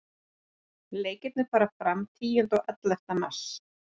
Leikirnir fara fram tíunda og ellefta mars.